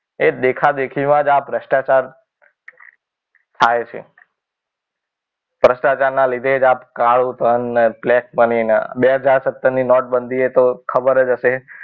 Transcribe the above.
એ દેખાદેખીમાં જ આ ભ્રષ્ટાચાર થાય છે. ભ્રષ્ટાચાર ના લીધે આ કાળુ ધન ને બ્લેક મળીને બે હાજર સત્તર ની નોટબંધી હતો. ખબર જ હશે